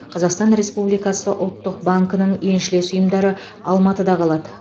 қазақстан республикасы ұлттық банкінің еншілес ұйымдары алматыда қалады